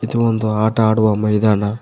ಇದು ಒಂದು ಆಟ ಆಡುವ ಮೈದಾನ.